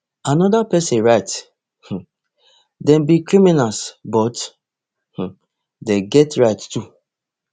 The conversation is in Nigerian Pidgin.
anoda pesin write um dem be criminals but um dem get rights too